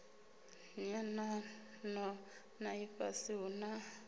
nyanano na ifhasi hu na